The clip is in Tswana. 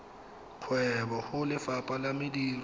kgwebo go lefapha la mediro